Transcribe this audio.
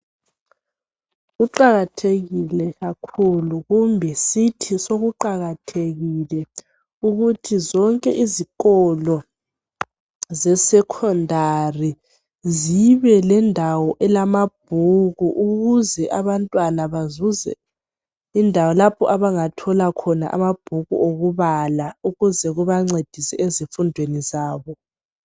Kuqakathekile kakhulu kumbe sithi sekuqakathekile ukuthi zonke izikolo ze secondary zibe lendawo yamabhuku ukuze abantwana bazuze indawo lapho abangathola khona amabhuku okubala ukuze kubancedisa ezifundweni zabo